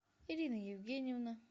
ирина евгеньевна